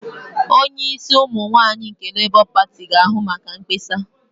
Onye isi ụmụ nwaanyị nke Labour pati ga-ahụ maka mkpesa.